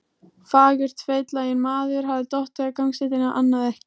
fagurt: Feitlaginn maður hafði dottið á gangstéttina, annað ekki.